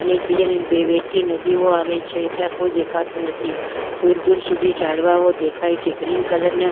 અને એક બીજાને બે વહેતી નદીઓ આવે છે અને ત્યાં કોઈ દેખાતું નથી દૂર દૂર સુધી ઝાડવાંઓ દેખાય ગ્રીન કલર ના--